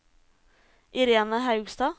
Irene Haugstad